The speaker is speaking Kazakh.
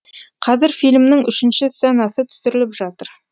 қазір фильмнің үшінші сценасы түсіріліп жатыр